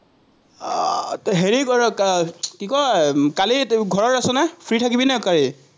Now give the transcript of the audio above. আহ হেৰি কৰক, আহ কি কয়, কালি ঘৰত আছ নে, ফ্ৰি থাকিবি নাই কালি?